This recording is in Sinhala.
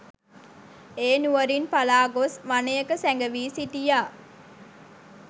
ඒ නුවරින් පලා ගොස් වනයක සැඟ වී සිටියා.